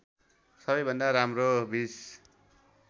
सबैभन्दा राम्रो २०